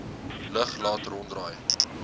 lug laat ronddraai